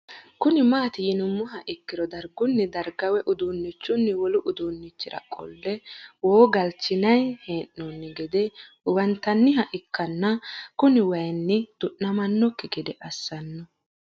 Kuni mati yinumoha ikiro darguni darga woyi udunichin wolu udunichira qole woo galichinay heen'oni gede huwantaniha ikaana kuni wayini dunamanoki gede asno